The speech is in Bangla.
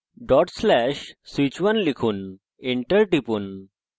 /switch1 লিখুন enter টিপুন